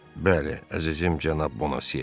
Bəli, əzizim cənab Bonasiye.